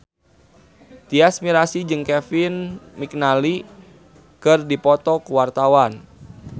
Tyas Mirasih jeung Kevin McNally keur dipoto ku wartawan